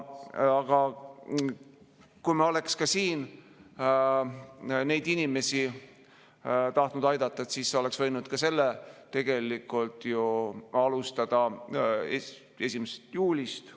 Aga kui me oleksime neid inimesi tahtnud aidata, siis oleks võinud ka sellega tegelikult ju alustada 1. juulist.